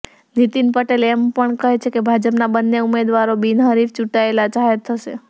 નીતિન પટેલ એમ પણ કહે છે કે ભાજપના બંને ઉમેદવારો બિનહરીફ ચૂંટાયેલા જાહેર થશે